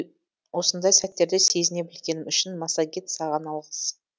осындай сәттерді сезіне білгенім үшін массагет саған алғыс